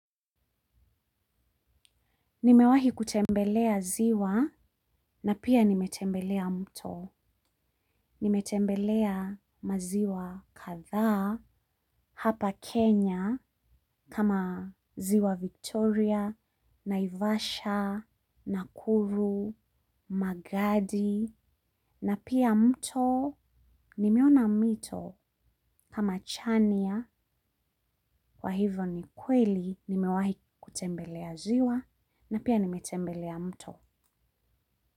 Nimewahi kutembelea ziwa na pia nimetembelea mto. Nimetembelea maziwa kathaa hapa Kenya kama ziwa Victoria, Naivasha, Nakuru, Magadi na pia mto nimeona mito kama chania kwa hivyo ni kweli nimewahi kutembelea ziwa na pia nimetembelea mto.